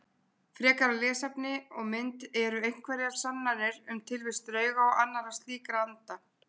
Frekara lesefni og mynd Eru einhverjar sannanir um tilvist drauga og annarra slíkra anda?